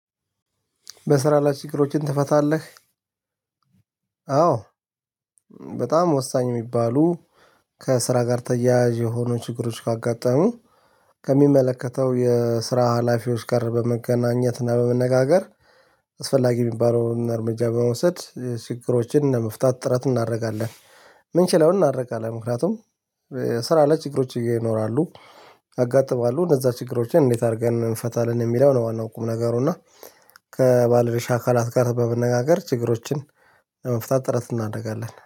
በስራ ላይ ችግሮችን ትፈታለህ? አዎ በጣም ወሳኝ የሚባሉ ከስራ ጋር ተያያዥ የሆኑ ችግሮች ካጋጠሙ ከሚመለከተው የስራ ሀላፊዎች ጋር በመገናኘት እና በመነጋገር አስፈላጊ የሚባለውን እርምጃ በመውሰድ ችግሮችን ለመፍታት ጥረት እናደርጋለን። ምንችለውን እናደርጋለን ምክንያቱም ስራ ላይ ችግሮች ይኖራሉ ያጋጥማሉ እነዛ ችግሮችን እንዴት አድርገን እንፈታለን የሚለው ነው ዋናው ቁም ነገሩ እና ከባለድርሻ አካላት ጋር በመነጋገር ችግሮችን ለመፍታት ጥረት እናደርጋለን።